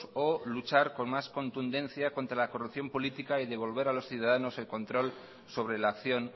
o luchar con más contundencia contra la corrupción política y devolver a los ciudadanos el control sobre la acción